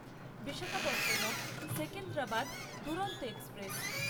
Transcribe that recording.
Visakhapatnam Secunderabad Duronto express